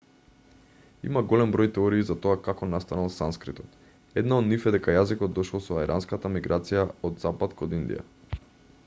има голем број теории за тоа како настанал санскритот една од нив е дека јазикот дошол со арјанската миграција од запад кон индија